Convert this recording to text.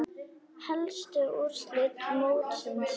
Helstu úrslit mótsins voru